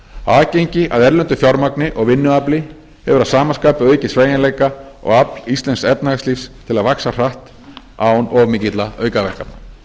aðgengi að erlendu fjármagni og vinnuafli hefur að sama skapi aukið sveigjanleika og afl íslensks efnahagslífs til að vaxa hratt án of mikilla aukaverkana